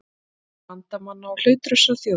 Bandamanna og hlutlausra þjóða.